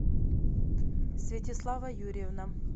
святеслава юрьевна